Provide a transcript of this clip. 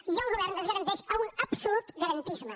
i el govern garanteix un absolut garantisme